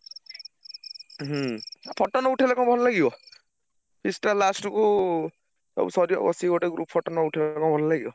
ହୁଁ photo ନଉଠେଇଲେ କଣ ଭଲ ଲାଗିବ? feast ଟା last କୁ ସବୁ ସରିଆକୁ ବସଚି ଗୋଟେ group photo ନ ଉଠେଇଲେ କଣ ଭଲ ଲାଗିବ?